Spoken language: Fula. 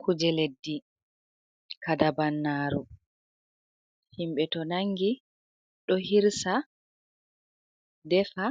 Kuje leddi kadabannaru, himɓe to nangi ɗo hirsa defa